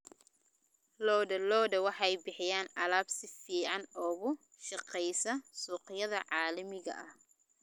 Lo'da lo'da waxay bixiyaan alaab si fiican uga shaqeysa suuqyada caalamiga ah.